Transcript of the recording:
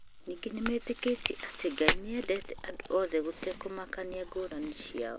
Ningĩ metĩkĩtie atĩ Ngai nĩ endete andũ othe gũtekũmakania ngũrani ciao.